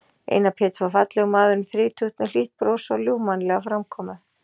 Einar Pétur var fallegur maður um þrítugt með hlýtt bros og ljúfmannlega framkomu.